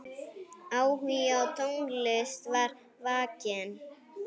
Áhugi á tónlist var vakinn.